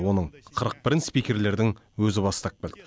оның қырық бірін спикерлердің өзі бастап келді